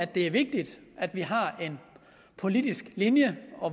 det er vigtigt at vi har en politisk linje